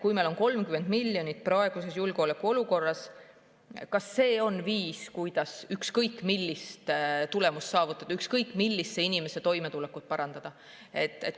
Kui meil on 30 miljonit praeguses julgeolekuolukorras, siis kas see on viis, kuidas ükskõik millist tulemust saavutada, ükskõik millise inimese toimetulekut parandada?